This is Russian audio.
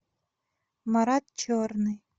марат черный